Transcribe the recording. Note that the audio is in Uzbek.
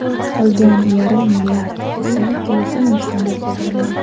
Qolgan yarim milliard esa kelasi mavsumga qoldirilgan.